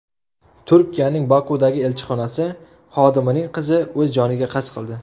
Turkiyaning Bokudagi elchixonasi xodimining qizi o‘z joniga qasd qildi.